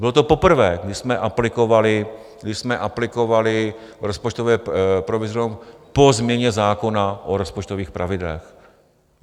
Bylo to poprvé, když jsme aplikovali rozpočtové provizorium po změně zákona o rozpočtových pravidlech.